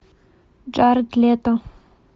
джаред лето